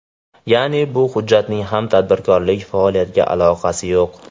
Ya’ni, bu hujjatning ham tadbirkorlik faoliyatiga aloqasi yo‘q.